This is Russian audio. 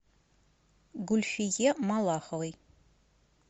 гульфие малаховой